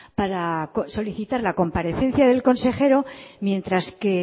para solicitar la comparecencia del consejero mientras que